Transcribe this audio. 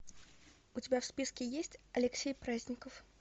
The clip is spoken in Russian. у тебя в списке есть алексей праздников